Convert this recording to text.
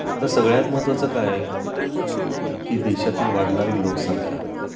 आता सगळ्यात महत्त्वाचं काय आहे की देशातील वाढणारी लोकसंख्या